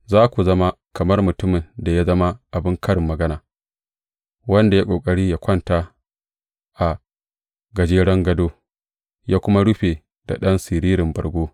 Za ku zama kamar mutumin da ya zama abin karin magana, wanda ya yi ƙoƙari yă kwanta a gajeren gado, yă kuma rufa da ɗan siririn bargo.